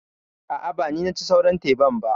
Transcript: A'a, ba ni naci sauran teban ba.